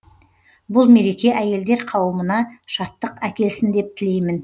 бұл мереке әйелдер қауымына шаттық әкелсін деп тілеймін